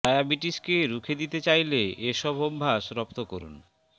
ডায়াবিটিসকে রুখে দিতে চাইলে এ সব অভ্যাস রপ্ত করুন